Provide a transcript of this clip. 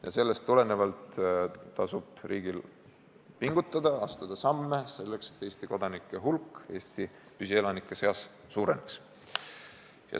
Ja sellest tulenevalt tasub riigil pingutada, astuda samme selleks, et Eesti kodanike hulk Eesti püsielanike seas suureneks.